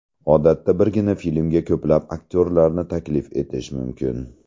Odatda birgina filmga ko‘plab aktyorlarni taklif etish mumkin.